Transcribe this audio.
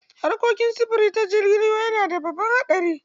Harkokin sufuri ta jirgin ruwa yana da babban haɗari.